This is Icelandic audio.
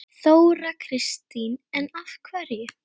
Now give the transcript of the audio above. Þóra Kristín: En af hverju?